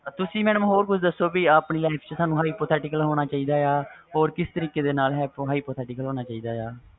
ਤੁਸੀ ਹੋਰ ਕੁਛ ਦੱਸੋ ਆਪਣੀ life ਚ hypothetical ਹੋਣਾ ਚਾਹੀਦਾ ਵ ਜਾ ਕਿਸ ਤਰੀਕੇ ਨਾਲ hypothetical ਹੋਣਾ ਚਾਹੀਦਾ ਵ